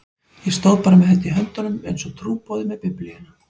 Ég stóð bara með þetta í höndunum einsog trúboði með Biblíuna.